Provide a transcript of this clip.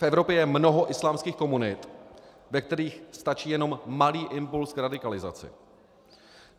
V Evropě je mnoho islámských komunit, ve kterých stačí jenom malý impuls k radikalizaci.